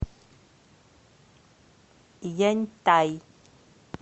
яньтай